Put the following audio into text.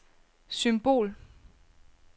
symbol